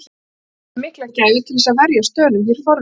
Ekki bárum við mikla gæfu til þess að verjast Dönum hér forðum.